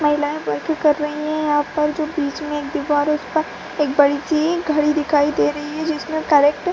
महिलाएं वर्क कर रही है अ पर जो बिच में एक दिवार है उसपे एक बड़ी सी घड़ी दिखायी दे रही है जिसमें --